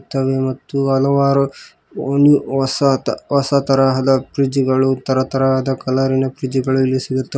ಇರುತ್ತೆ ಮತ್ತು ಹಲವಾರು ಹೊಸ ಹೊಸತರಹದ ಫ್ರಿಡ್ಜ್ ಗಳು ತರ ತರಹದ ಕಲರಿ ನ ಫ್ರಿಡ್ಜ್ ಗಳು ಇಲ್ಲಿ ಸಿಗುತ್ತೆ.